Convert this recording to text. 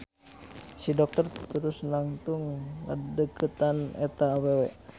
Si dokter terus nangtung ngadeukeutan eta awewe.